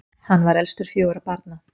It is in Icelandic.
hann var elstur fjögurra barna